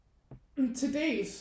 Til dels